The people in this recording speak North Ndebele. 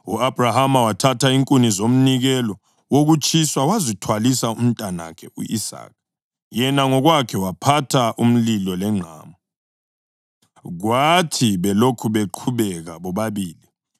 U-Abhrahama wathatha inkuni zomnikelo wokutshiswa wazithwalisa umntanakhe u-Isaka, yena ngokwakhe waphatha umlilo lengqamu. Kwathi belokhu beqhubeka bobabili,